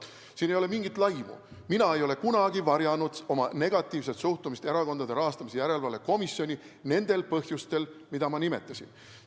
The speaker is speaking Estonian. Siin ei ole mingit laimu, mina ei ole kunagi varjanud oma negatiivset suhtumist Erakondade Rahastamise Järelevalve Komisjoni, nendel põhjustel, mida ma nimetasin.